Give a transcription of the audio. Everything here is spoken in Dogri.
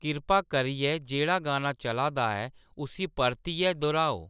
किरपा करियै जेह्ड़ा गाना चला दा ऐ उस्सी परतियै दोह्ऱाओ